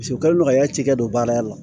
u kɛlen do ka yatikɛ don baara ya la